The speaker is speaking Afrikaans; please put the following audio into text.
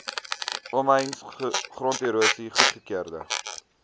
omheinings gronderosie goedgekeurde